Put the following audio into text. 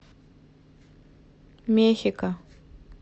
мехико